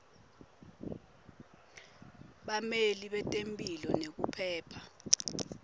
bameli betemphilo nekuphepha